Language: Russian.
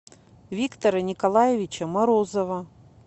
виктора николаевича морозова